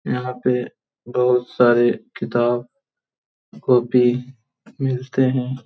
यहां पे बहुत सारे किताब कॉपी मिलते है।